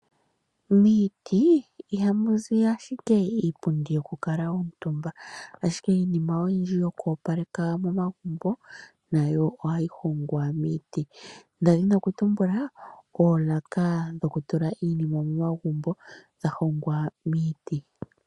Miiti iha muzi ashike iipundi yoku kala omutumba ashike iinima oyindji yoku opaleka momagumbo nayo ohayi hongwa miiti, nda dhina okutumbula oolaka dhokutula iinima momagumbo dha hongwa miiti.